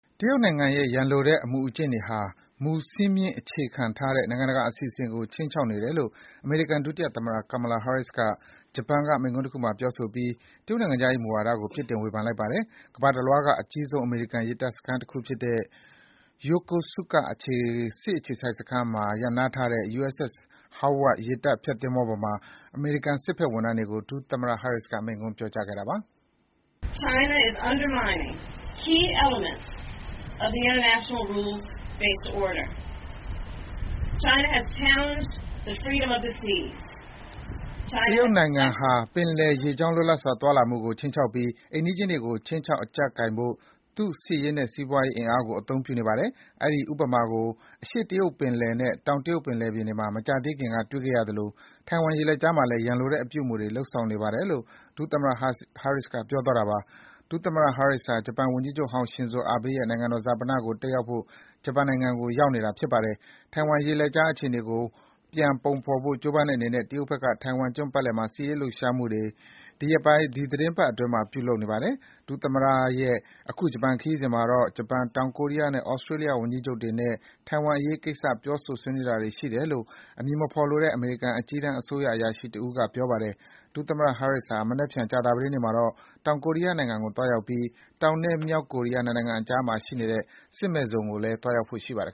တရုတ်အစိုးရရဲ့ ရန်လိုတဲ့လုပ်ရပ်တွေဟာ ဥပေဒစည်းမျဉ်းတွေကို အခြေခံတဲ့ နိုင်ငံတကာ အစီအစဉ်တွေကို ခြိမ်းခြောက်နေတယ်လို့ အမေရိကန်ဒုသမ္မတ Kamala Harris က ဂျပန်နိုင်ငံမှာ ပြောကြားလိုက်ပါတယ်။ ကမ္ဘာတလွှားက အမေရိကန်ရေတပ်အခြေစိုက်စခန်းတွေထဲမှာ အကြီးဆုံးဖြစ် တဲ့ Yokosuka ရေတပ်စခန်းမှာ ဆိုက်ကပ်ထားတဲ့ USS Howard ရေတပ်ဖျက် သင်္ဘောပေါ်မှာ အမေရိကန်စစ်မှုထမ်းတွေကို အမေရိကန်ဒုသမ္မတက ခုလိုပြောကြားခဲ့တာပါ။ “တရုတ်နိုင်ငံဟာ ပင်လယ်ရေကြောင်းလွတ်လပ်စွာသွားလာမှုကို ခြိမ်းခြောက်ပြီး အိမ်နီးချင်းတွေကို ခြိမ်းခြောက်အကြပ်ကိုင်ဖို့ သူ့စစ်ရေးနဲ့ စီးပွားရေးအင်အားကို အသုံးပြုနေပါတယ်။ အဲဒီ ဥပမာကို အရှေ့တရုတ်ပင်လယ်နဲ့ တောင် တရုတ်ပင်လယ်တွေမှာ မကြာသေးခင်က တွေ့ခဲ့ရသလို ထိုင်ဝမ် ရေလက်ကြားမှာလည်း ရန်လိုတဲ့အပြုအမူတွေ လုပ်ဆောင်နေပါတယ်” - လို့ ဒု သမ္မတ Harris က ပြောပါတယ်။ ဒုသမ္မတ Harris ဟာ ဂျပန်ဝန်ကြီးချုပ်ဟောင်း Shinzo Abe ရဲ့ နိုင်ငံတော်ဈာပနကို တတ်ရောက်ဖို့ ဂျပန်ကို ရောက်ရှိနေတာပါ။ ထိုင်ဝမ်ရေလက်ကြားအခြေအနေကို ပြန်ပုံဖော်ဖို့ ကြိုးပမ်းတဲ့အနေနဲ့ တရုတ်ဘက်က ထိုင်ဝမ်ကျွန်းပတ်ပတ်လည်မှာ စစ်ရေးလှုပ်ရှားမှုတွေ ဒီ ရက်သီတင်းပတ်အတွင်း ပြုလုပ်နေပါတယ်။ ဒုသမ္မတရဲ့ အခု ဂျပန်ခရီးစဉ်မှာတော့ ဂျပန် တောင်ကိုရီးယားနဲ့ ဩစတြေးလျဝန်ကြီးချုပ်တွေနဲ့ ထိုင်ဝမ်အရေးကိစ္စ ပြောဆိုတာတွေရှိတယ်လို့ အမည်မဖော်လိုတဲ့ အမေရိကန် အကြီးတန်းအစိုးရတာဝန်ရှိသူတဦးက ပြောပါတယ်။ ဒုသမ္မတ Harris ဟာ မနက်ဖြန် ကြာသပတေးနေ့မှာတော့ တောင်ကိုရီးယားနိုင်ငံကို သွားရောက်ပြီး တောင်နဲ့ မြောက်ကိုရီးယား နှစ်နိုင်ငံနယ်စပ်မှာရှိတဲ့ စစ်မဲ့ဇုံကို သွားရောက်ဖို့ရှိပါတယ်